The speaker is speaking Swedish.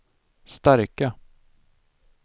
starka